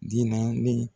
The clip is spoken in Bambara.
Di naani